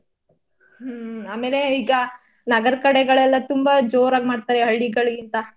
ಹ್ಮ್ ಆಮೇಲೆ ಈಗ ನಗರದ್ ಕಡೆಗಳೆಲ್ಲಾ ತುಂಬ ಜೋರಾಗ್ ಮಾಡ್ತಾರೆ ಹಳ್ಳಿಗಳ್ಗಿಂತ.